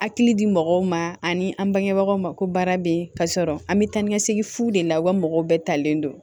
Hakili di mɔgɔw ma ani an bangebagaw ma ko baara bɛ yen ka sɔrɔ an bɛ taa ni ka segin fu de la u ka mɔgɔw bɛɛ talen don